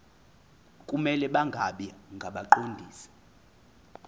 kumele bangabi ngabaqondisi